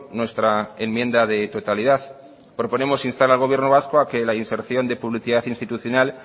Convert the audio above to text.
nuestra enmienda de totalidad proponemos instas al gobierno vasco a que la inserción de publicidad institucional